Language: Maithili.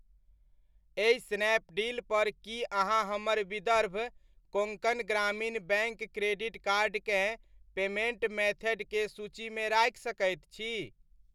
एहि स्नैपडील पर की अहाँ हमर Vidarbha Konkan Gramin bank credit card केँ पेमेन्ट मेथड के सूचीमे राखि सकैत छी?